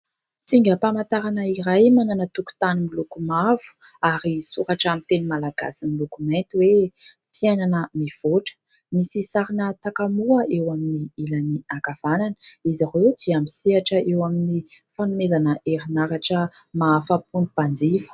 Singam-pamantarana iray manana tokontany miloko mavo ary soratra amin'ny teny malagasy miloko mainty hoe " fiainana mivoatra ". Misy sarina takamoa eo amin'ny ilany ankavanana. Izy ireo dia misehatra eo amin'ny fanomezana herinaratra mahafa-po ny mpanjifa.